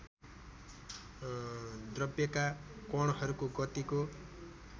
द्रव्यका कणहरूको गतिको